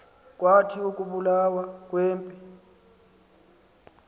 kwathi ukubulawa kwempi